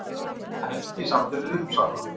Helgi samdi við Uppsala